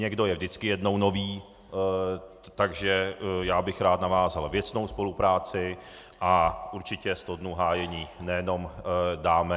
Někdo je vždycky jednou nový, takže já bych rád navázal věcnou spolupráci a určitě sto dnů hájení nejenom dáme.